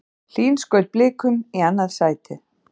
Hlín skaut Blikum í annað sætið